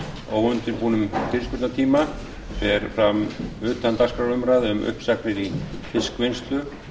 óundirbúnum fyrirspurnatíma fer fram utandagskrárumræða um uppsagnir í fiskvinnslu